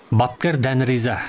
бапкер дән риза